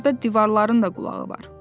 Burda divarların da qulağı var.